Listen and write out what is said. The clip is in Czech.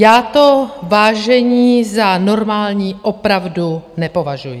Já to, vážení, za normální opravdu nepovažuji.